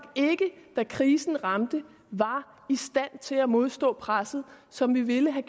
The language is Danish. ikke da krisen ramte var i stand til at modstå presset som vi ville have